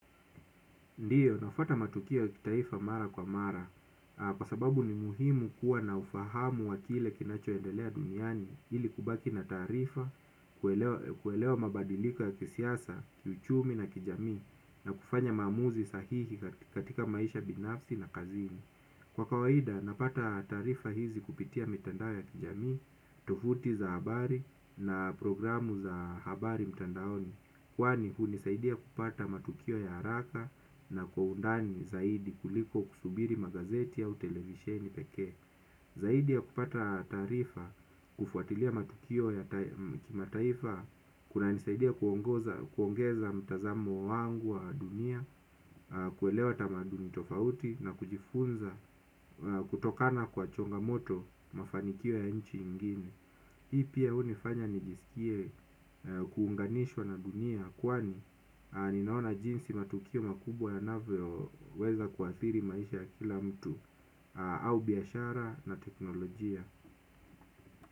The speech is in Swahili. Ndiyo, nafuata matukio kitaifa mara kwa mara, kwa sababu ni muhimu kuwa na ufahamu wa kile kinachoendelea duniani, ili kubaki na taarifa, kuelewa mabadiliko ya kisiasa, kiuchumi na kijamii, na kufanya maamuzi sahihi katika maisha binafsi na kazini. Kwa kawaida napata taarifa hizi kupitia mitandao ya kijami, tovuti za habari na programu za habari mitandaoni. Kwani hunisaidia kupata matukio ya haraka na kwa undani zaidi kuliko kusubiri magazeti au televisheni pekee. Zaidi ya kupata taarifa kufuatilia matukio ya kimataifa kunanisaidia kuongeza mtazamo wangu wa dunia. Kuelewa tamaduni tofauti na kujifunza kutokana kwa changamoto mafanikio ya nchi ingine. Hii pia hunifanya nijisikie kuunganishwa na dunia. Kwani ninaona jinsi matukio makubwa yanavyoweza kuathiri maisha ya kila mtu au biashara na teknolojia.